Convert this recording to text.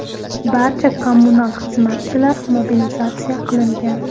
Barcha kommunal xizmatchilar mobilizatsiya qilingan.